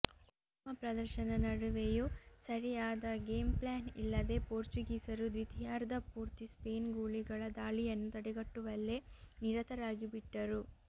ಉತ್ತಮ ಪ್ರದರ್ಶನ ನಡುವೆಯೂ ಸರಿಯಾದ ಗೇಮ್ ಪ್ಲಾನ್ ಇಲ್ಲದೆ ಪೋರ್ಚುಗೀಸರು ದ್ವಿತೀಯಾರ್ಧ ಪೂರ್ತಿ ಸ್ಪೇನ್ ಗೂಳಿಗಳ ದಾಳಿಯನ್ನು ತಡೆಗಟ್ಟುವಲ್ಲೇ ನಿರತರಾಗಿಬಿಟ್ಟರು